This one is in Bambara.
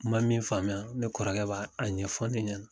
Ma min faamuya, ne kɔrɔkɛ b'a a ɲɛfɔ ne ɲɛna.